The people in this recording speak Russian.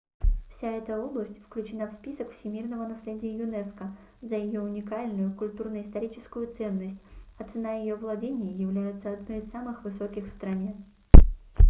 вся эта область включена в список всемирного наследия юнеско за её уникальную культурно-историческую ценность а цена ее владений является одной из самых высоких в стране